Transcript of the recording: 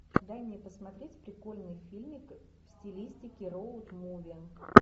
дай мне посмотреть прикольный фильмик в стилистике роуд муви